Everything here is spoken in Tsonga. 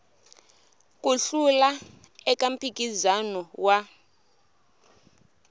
ku hlula eka mphikizano wa